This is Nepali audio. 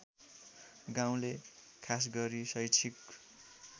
गाउँले खासगरी शैक्षिक